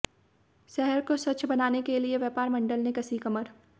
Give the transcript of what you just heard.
शहर को स्वच्छ बनाने के लिए व्यापार मंडल ने कसी कमर